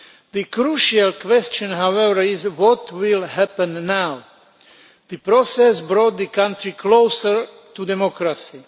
The crucial question however is what will happen now? The process brought the country closer to democracy.